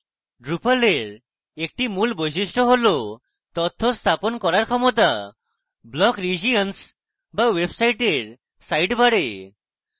drupal এর একটি মূল বৈশিষ্ট্য হল তথ্য স্থাপন করার ক্ষমতা block regions বা ওয়েবসাইটের সাইডবারে